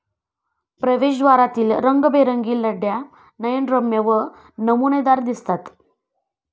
प्रवेशद्वारातील रंगीबेरंगी लड्या नयनरम्य व नमुनेदार दिसतात.